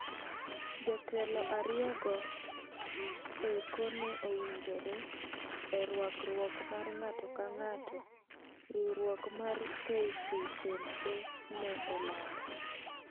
"Jotelo ariyo go eko ne owinjore e rwakruok mar ng'ato ka ng'ato,"Riuruok mar KCNA ne olando.